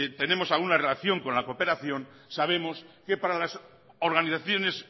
tenemos alguna relación con la cooperación sabemos que para las organizaciones